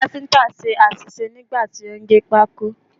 Káfíǹtà ṣe àṣìṣe nígbà tí ó ń gé pákó.